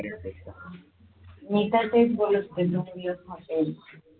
मी तर तेच बोलत होते.